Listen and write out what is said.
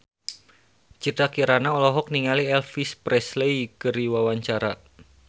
Citra Kirana olohok ningali Elvis Presley keur diwawancara